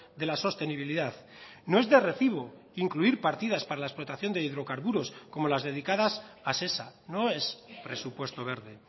de la sostenibilidad no es de recibo incluir partidas para la explotación de hidrocarburos como las dedicadas a sesa no es presupuesto verde